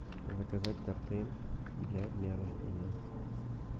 заказать торты для дня рождения